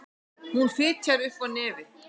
Hún fitjar upp á nefið.